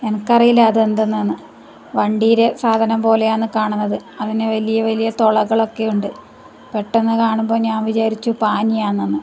എനക്ക് അറിയില്ല അത് എന്ത്ന്നാന്ന് വണ്ടിയിലെ സാധനം പോലെയാണ് കാണുന്നത് അതിന് വലിയ വലിയ തൊളകൾ ഒക്കെ ഉണ്ട് പെട്ടന്ന് കാണുമ്പോൾ ഞാൻ വിചാരിച്ചു പാനി ആന്നെന്ന്.